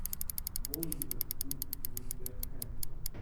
футбол ливерпуль вулверхэмптон